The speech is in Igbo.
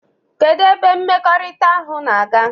Kedu ebe mmekọrịta ahụ na-aga?